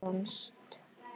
Það vannst.